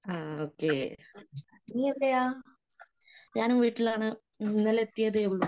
ആ ഓക്കേ. ഞാൻ വീട്ടിലാണ്. ഇന്നലെ എത്തിയതേയുള്ളൂ.